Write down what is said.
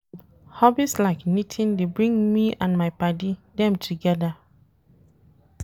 Hobbies like knitting dey bring me and my paddy dem togeda.